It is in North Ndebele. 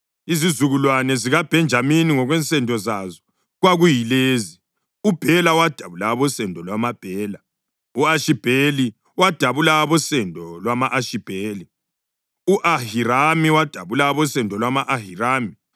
Izizukulwane zikaBhenjamini ngokwensendo zazo kwakuyilezi: uBhela wadabula abosendo lwamaBhela; u-Ashibheli wadabula abosendo lwama-Ashibheli; u-Ahirami wadabula abosendo lwama-Ahirami;